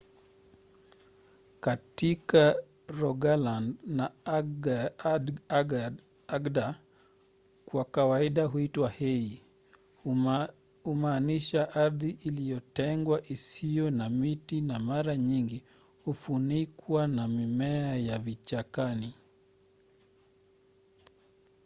katika rogaland na agder kwa kawaida huitwa hei kumaanisha ardhi iliyotengwa isiyo na miti na mara nyingi hufunikwa na mimea ya vichakani